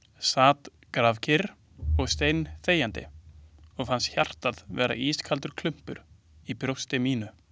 Sat grafkyrr og steinþegjandi og fannst hjartað vera ískaldur klumpur í brjósti mínu ...